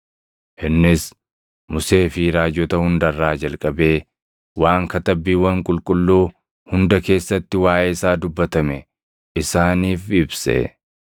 Innis Musee fi raajota hunda irraa jalqabee waan Katabbiiwwan Qulqulluu hunda keessatti waaʼee isaa dubbatame isaaniif ibse.